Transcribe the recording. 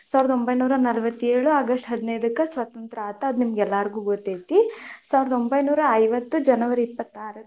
ಸಾವಿರದ ಒಂಬೈನೂರಾ ನಲವತ್ತೇಳು ಆಗಸ್ಟ್ ಹದಿನೈದಕ್ಕ ಸ್ವತಂತ್ರ ಆತು ಅದು ನಿಮಗ ಎಲ್ಲಾರಿಗೂ ಗೊತ್ತೈತಿ, ಸಾವಿರದ ಒಂಬೈನೂರಾ ಐವತ್ತು ಜನವರಿ ಇಪ್ಪತ್ತಾರಕ್ಕ.